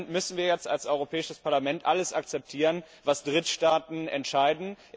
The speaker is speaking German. Müssen wir jetzt als Europäisches Parlament alles akzeptieren, was Drittstaaten entscheiden?